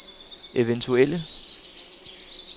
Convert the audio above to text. eventuelle